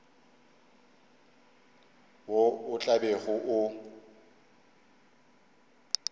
wo o tla bego o